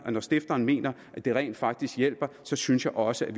og når stifteren mener at det rent faktisk hjælper så synes jeg også